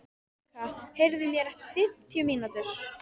Eneka, heyrðu í mér eftir fimmtíu mínútur.